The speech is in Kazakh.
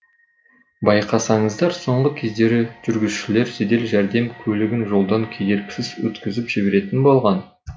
байқасаңыздар соңғы кездері жүргізушілер жедел жәрдем көлігін жолдан кедергісіз өткізіп жіберетін болған